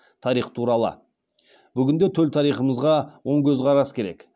тарих туралы бүгінде төл тарихымызға оң көзқарас керек